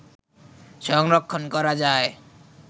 সংরক্ষণ করা যায়